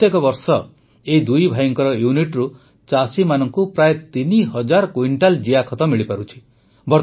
ପ୍ରତ୍ୟେକ ବର୍ଷ ଏହି ଦୁଇଭାଇଙ୍କ ୟୁନିଟରୁ ଚାଷୀମାନଙ୍କୁ ପ୍ରାୟ ତିନି ହଜାର କୁଇଣ୍ଟାଲ୍ ଜିଆଖତ ମିଳିପାରୁଛି